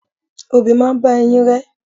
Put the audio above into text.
Obì máa bá eyín rẹ.